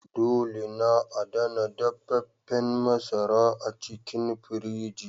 Dole na adana dafefen masara a cikin firiji.